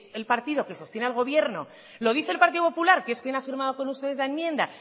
el partido que sostiene el gobierno lo dice el partido popular que es quien ha firmado con ustedes la enmienda